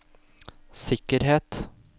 sikkerhet